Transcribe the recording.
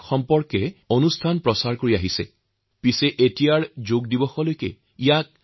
কিন্তু এতিয়াৰে পৰা যোগ দিৱস পৰ্যন্ত এক অভিযান হিচাপে লৈ যোগৰ প্ৰতি সজাগতা সৃষ্টি কৰিব পৰা নাযায় নে